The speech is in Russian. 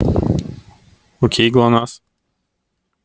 окей глонассс